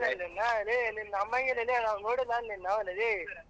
ಲೇ ನಿನ್ನ ನಂಬಂಗಿಲ್ಲ ಲೇ ನಿನ್ನ ನಂಬಂಗಿಲ್ಲ ನೋಡಿಲ್ಲ ಏನ್ ನಾವ್ ನಿನ್ನವ್ವನ್ ಲೇ.